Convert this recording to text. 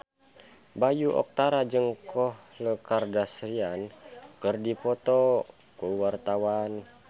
Bayu Octara jeung Khloe Kardashian keur dipoto ku wartawan